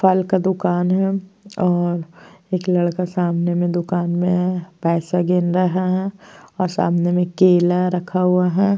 फल का दुकान है और एक लड़का सामने में दुकान में है। पैसा गिर रहा है और सामने में केला रखा हुआ है।